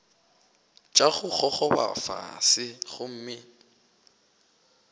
tša go gogoba fase gomme